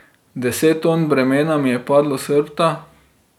Deset ton bremena mi je padlo s hrbta.